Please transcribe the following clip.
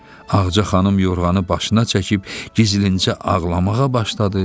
Ağca xanım yorğanı başına çəkib gizlincə ağlamağa başladı.